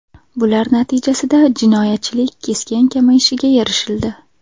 Bular natijasida jinoyatchilik keskin kamayishiga erishildi.